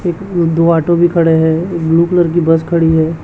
दो ऑटो भी खड़े हैं एक ब्लू कलर की बस खड़ी है।